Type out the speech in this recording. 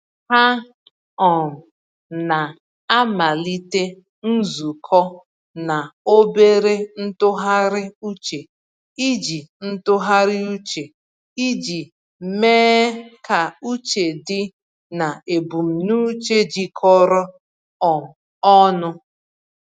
Ha um na-amalite nzukọ na obere ntụgharị uche iji ntụgharị uche iji mee ka uche dị na ebumnuche jikọrọ um ọnụ.